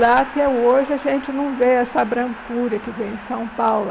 Lá, até hoje, a gente não vê essa brancura que vem em São Paulo.